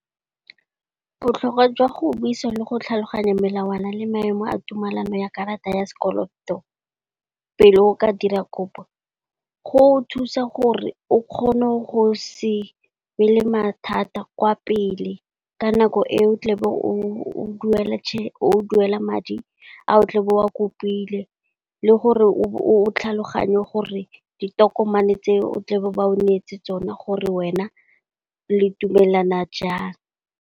Botlhokwa jwa go buisa le go tlhaloganya melawana le maemo a tumalano ya karata ya sekoloto, pele o ka dira kopo go thusa gore o kgone go se be le mathata kwa pele ka nako e o tle o duela o duela madi a o tle be o a kopile. Le gore o tlhaloganye gore ditokomane tse o tle o ba o neetse tsone gore wena le dumelana jang.